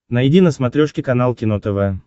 найди на смотрешке канал кино тв